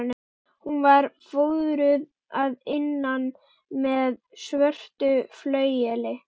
Hún var fóðruð að innan með svörtu flaueli.